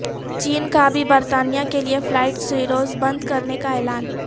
چین کا بھی برطانیہ کے لیے فلائیٹ سروس بند کرنے کا اعلان